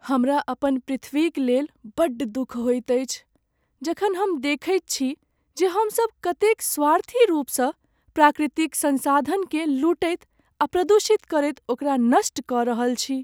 हमरा अपन पृथ्वीक लेल बड्ड दुख होइत अछि जखन हम देखैत छी जे हमसभ कतेक स्वार्थी रूपसँ प्राकृतिक संसाधनकेँ लूटैत आ प्रदूषित करैत ओकरा नष्ट कऽ रहल छी।